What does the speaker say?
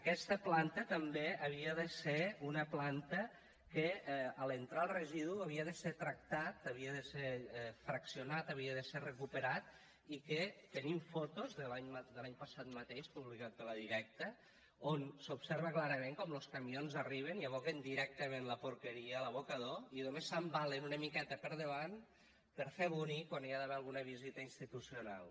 aquesta planta també havia de ser una planta que a l’entrar el residu havia de ser tractat havia de ser fraccionat havia de ser recuperat i que tenim fotos de l’any passat mateix publicades per la directa on s’observa clarament com los camions arriben i aboquen directament la porqueria a l’abocador i només s’embalen una miqueta per davant per fer bonic quan hi ha d’haver alguna visita institucional